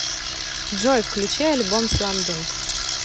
джой включи альбом сламдунк